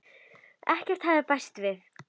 Ekkert hafði bæst við.